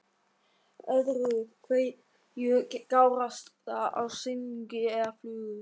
Öðru hverju gárast það af silungi eða flugu.